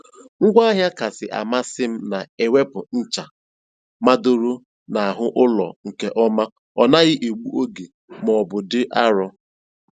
Ngwaahịa kasị amasị m na - ewepụ ncha madoro n'ahụ ụlọ nke ọma ọ naghị egbu oge ma ọ bụ dị arọ.